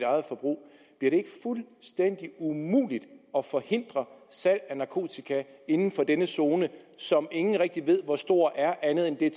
eget forbrug bliver det ikke fuldstændig umuligt at forhindre salg af narkotika inden for denne zone som ingen rigtig ved hvor stor er andet end at det er